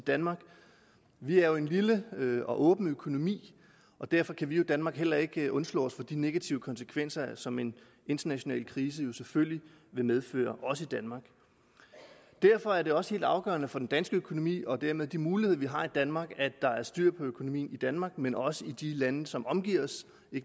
danmark vi er jo en lille og åben økonomi og derfor kan vi i danmark heller ikke undslå os de negative konsekvenser som en international krise selvfølgelig vil medføre også i danmark derfor er det også helt afgørende for den danske økonomi og dermed de muligheder vi har i danmark at der er styr på økonomien i danmark men også i de lande som omgiver os